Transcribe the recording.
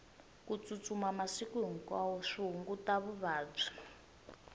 ku tsutsuma masiku hinkwawo swi hunguta vuvabyi